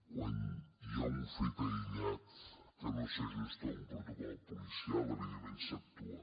quan hi ha un fet aïllat que no s’ajusta a un protocol policial evidentment s’actua